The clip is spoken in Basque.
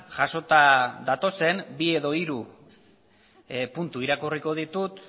jasota datozen bi edo hiru puntu irakurriko ditut